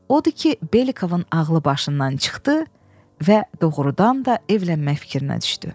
Odur ki, Belikovun ağlı başından çıxdı və doğrudan da evlənmək fikrinə düşdü.